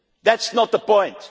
That is not the